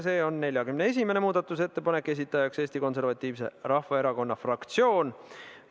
See on 41. muudatusettepanek, mille on esitanud Eesti Konservatiivse Rahvaerakonna fraktsioon.